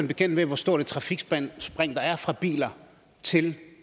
bekendt med hvor stort et trafikspring der er fra biler til